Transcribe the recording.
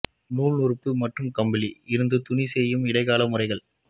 நூல் நூற்பு மற்றும் கம்பளி இருந்து துணி செய்யும் இடைக்கால முறைகள்